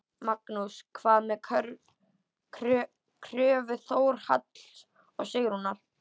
Magnús: Hvað með kröfu Þórhalls og Sigrúnar?